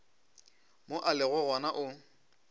mo a lego gona o